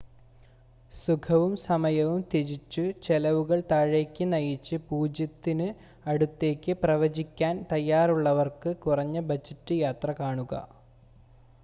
സുഖവും സമയവും ത്യജിച്ച് ചെലവുകൾ താഴേക്ക് നയിച്ച് 0 ത്തിന് അടുത്തേക്ക് പ്രവചിക്കാൻ തയ്യാറുള്ളവർക്ക് കുറഞ്ഞ ബജറ്റ് യാത്ര കാണുക